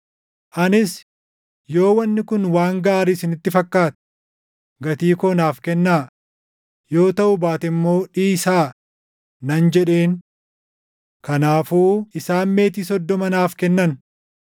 Anis, “Yoo wanni kun waan gaarii isinitti fakkaate, gatii koo naaf kennaa; yoo taʼuu baate immoo dhiisaa” nan jedheen. Kanaafuu isaan meetii soddoma naaf kennan.